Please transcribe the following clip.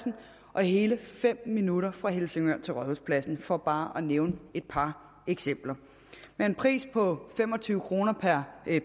og hele fem minutter fra helsingør til rådhuspladsen for bare at nævne et par eksempler med en pris på fem og tyve kroner per